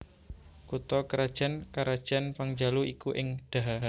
Kutha krajan karajan Pangjalu iku ing Daha